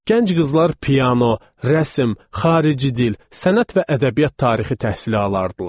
Gənc qızlar piano, rəsm, xarici dil, sənət və ədəbiyyat tarixi təhsili alırdılar.